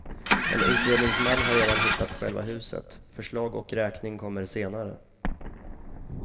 En utredningsman har redan hittat själva huset, förslag och räkning kommer senare.